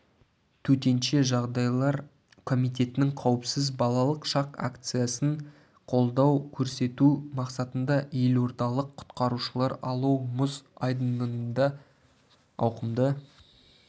төтенше жағдайлар комитетінің қауіпсіз балалық шақ акциясын қолдау көрсету мақсатында елордалық құтқарушылар алау мұз айдынында ауқымды